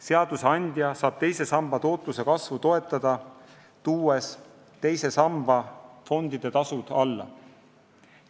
Seadusandja saab teise samba tootluse kasvu toetada, tuues teise samba fondide tasud alla.